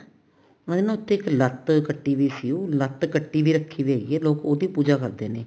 ਉਹਨਾ ਨੇ ਨਾ ਉੱਥੇ ਇੱਕ ਲੱਤ ਕੱਟੀ ਵੀ ਸੀ ਲੱਤ ਕੱਟੀ ਵੀ ਰੱਖੀ ਵੀ ਹੈਗੀ ਆ ਲੋਕ ਉਹਦੀ ਪੂਜਾ ਕਰਦੇ ਨੇ